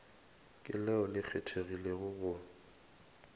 ke leo le kgethegilego go